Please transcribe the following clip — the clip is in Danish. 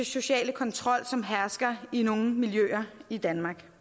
sociale kontrol som hersker i nogle miljøer i danmark